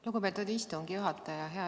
Lugupeetud istungi juhataja!